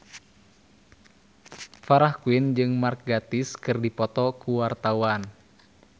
Farah Quinn jeung Mark Gatiss keur dipoto ku wartawan